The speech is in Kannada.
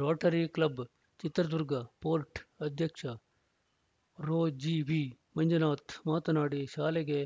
ರೋಟರಿ ಕ್ಲಬ್‌ ಚಿತ್ರದುರ್ಗ ಫೋರ್ಟ್‌ ಅಧ್ಯಕ್ಷ ರೊಜೆವಿಮಂಜುನಾಥ್‌ ಮಾತನಾಡಿ ಶಾಲೆಗೆ